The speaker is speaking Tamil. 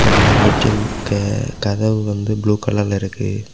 இந்த ஏ_டி_எம் க கதவு வந்து ப்ளூ கலர்ல இருக்கு.